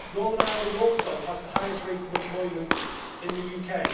Northern Ireland also has the highest rate of unemployment in the UK.